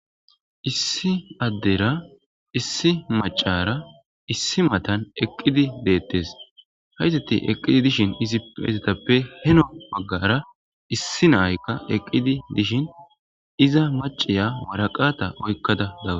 issi addera issi macara issi matan eqqidi deettes hayzeti eqqidi dishin izi hayzetappe heno baggara issi naaykka eqqidi dishin iza maciya waraqata oykkada daga